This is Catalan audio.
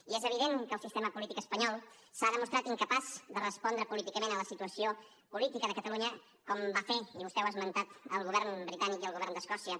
i és evident que el sistema polític espanyol s’ha demostrat incapaç de respondre políticament a la situació política de catalunya com van fer i vostè ho ha esmentat el govern britànic i el govern d’escòcia